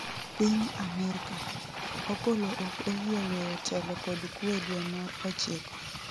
Piny Amerka: Opollo ok oyie weyo telo kod kwe dwe mar ochiko